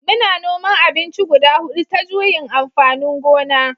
Muna noman abinci guda hudu ta juyin amfanin gona